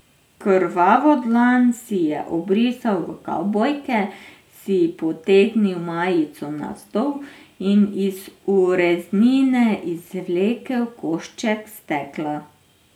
Krvavo dlan si je obrisal v kavbojke, si potegnil majico navzdol in iz ureznine izvlekel košček stekla.